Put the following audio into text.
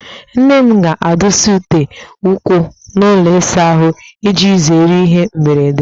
Nne m ga-adụsa ute ụkwụ n'ụlọ ịsa ahụ, iji zere ihe mberede